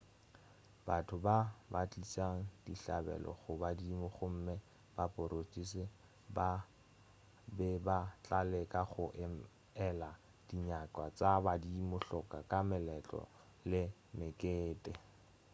batho ba be ba tliša dihlabelo go badimo gomme baporista ba be ba tla leka go ela dinyakwa tša badimo hloko ka meletlo le mekete